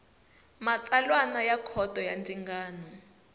matsalana wa khoto ya ndzingano